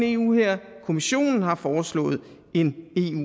eu hær kommissionen har foreslået en